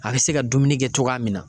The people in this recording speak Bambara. A bɛ se ka dumuni kɛ togoya min na